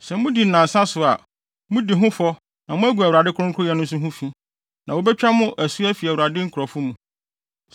Sɛ mudi no nnansa so a, mudi ho fɔ na moagu Awurade kronkronyɛ nso ho fi, na wobetwa mo asu afi Awurade nkurɔfo mu.